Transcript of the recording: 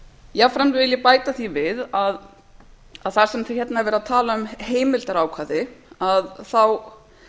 jafnframt vil ég bæta því við að það sem hérna er verið að tala um heimildarákvæði þá